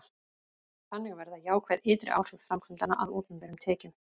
þannig verða jákvæð ytri áhrif framkvæmdanna að opinberum tekjum